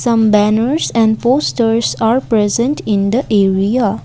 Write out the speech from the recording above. some banners and posters are present in the area.